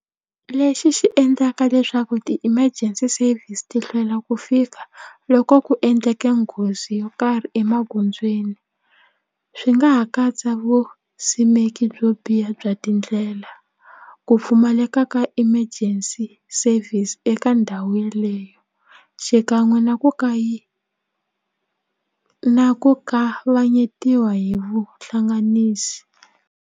Lexi xi endlaka leswaku ti-emergency service ti hlwela ku fika loko ku endleke nghozi yo karhi emagondzweni swi nga ha katsa vusimeki byo biha bya tindlela ku pfumaleka ka emergency service eka ndhawu yeleyo xikan'we na ku ku ku kavanyetiwa hi vuhlanganisi.